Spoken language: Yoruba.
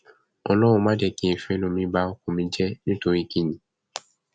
ọlọrun mà jẹ kí n fẹnu mi ba ọkọ mi jẹ nítorí kín ni